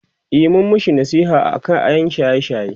e mun mashi nasiha aka ƴan shaye shaye